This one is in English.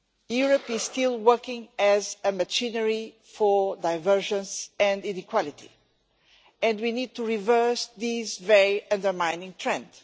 Europe is still working as a machine for divergence and inequality and we need to reverse this very undermining trend.